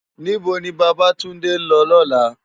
Nibó ni Babatunde n lò lòlá?